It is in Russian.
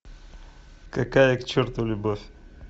какая к черту любовь